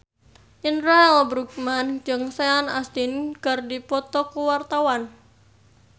Indra L. Bruggman jeung Sean Astin keur dipoto ku wartawan